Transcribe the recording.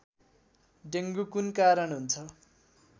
dengue कुन कारण हुन्छ